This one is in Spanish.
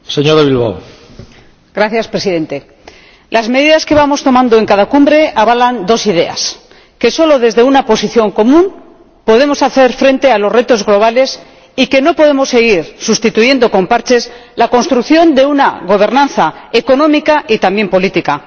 Señor Presidente, las medidas que vamos tomando en cada Cumbre avalan dos ideas que solo desde una posición común podemos hacer frente a los retos globales y que no podemos seguir sustituyendo con parches la construcción de una gobernanza económica y también política.